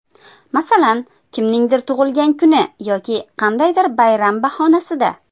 Masalan, kimningdir tug‘ilgan kuni yoki qandaydir bayram bahonasida.